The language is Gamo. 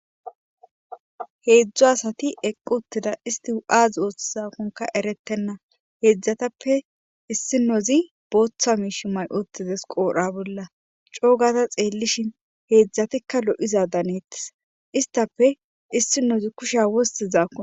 Heedzdzo asati equ uttida isti u7azi ooththizakonka erettenna heedzdzatappe issinozi booththa miish may7otizes qoodha bolla coogata xeellishin heedzdzatikka lo7iza daneettis istape issinozi kusha wosti zaaon.